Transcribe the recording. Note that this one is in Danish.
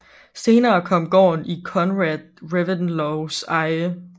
Senere kom gården i Conrad Reventlows eje